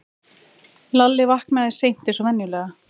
Lalli vaknaði seint eins og venjulega.